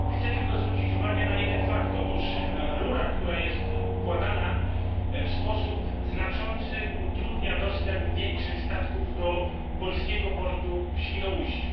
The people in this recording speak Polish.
Chcę tylko zwrócić uwagę na jeden fakt otóż rura, która jest układana, w sposób znaczący utrudnia dostęp większych statków do polskiego portu w Świnoujściu.